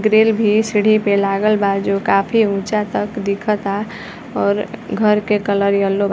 Grill भी सीढ़ी पे लागल बा जो काफ़ी ऊँचा तक दिखता और घर के कलर येल्लो बा।